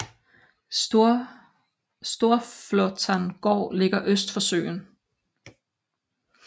Storflåtan gård ligger øst for søen